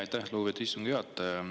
Aitäh, lugupeetud istungi juhataja!